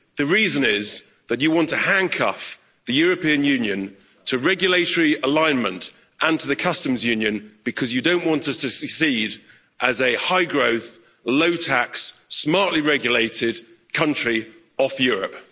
The reason is that you want to handcuff the European Union to regulatory alignment and to the Customs Union because you don't want us to succeed as a high growth, low tax, smartly regulated country off Europe.